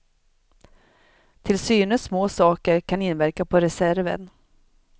Tillsynes små saker kan inverka på reserven.